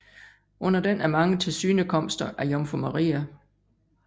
Under den er mange tilsynekomster af Jomfru Maria